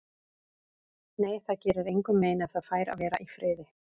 Nei, það gerir engum mein ef það fær að vera í friði.